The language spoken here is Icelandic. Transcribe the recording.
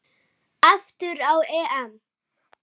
Aftur á EM.